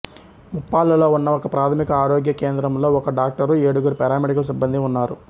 ముప్పాళ్ళలో ఉన్న ఒకప్రాథమిక ఆరోగ్య కేంద్రంలో ఒక డాక్టరు ఏడుగురు పారామెడికల్ సిబ్బందీ ఉన్నారు